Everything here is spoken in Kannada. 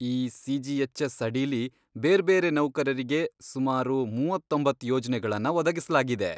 ಈ ಸಿಜಿಎಚ್ಎಸ್ ಅಡಿಲಿ ಬೇರ್ಬೇರೆ ನೌಕರರಿಗೆ ಸುಮಾರು ಮೂವತ್ತೊಂಬತ್ತ್ ಯೋಜ್ನೆಗಳನ್ನ ಒದಗಿಸ್ಲಾಗಿದೆ.